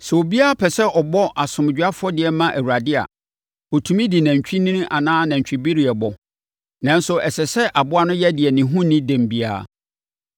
“ ‘Sɛ obiara pɛ sɛ ɔbɔ asomdwoeɛ afɔdeɛ ma Awurade a, ɔtumi de nantwinini anaa nantwibereɛ bɔ, nanso ɛsɛ sɛ aboa no yɛ deɛ ne ho nni dɛm biara.